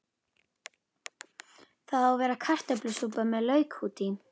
Það á að vera kartöflusúpa með lauk út í.